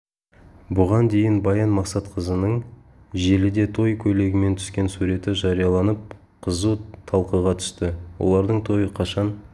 бұған дейін баян мақсатқызының желіде той көйлегімен түскен суреті жарияланып қызу талқыға түсті олардың тойы қашан